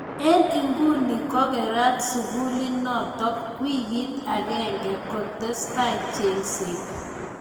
Eng inguni ko kerat sukulinotok wikit agenge kotestai chengset.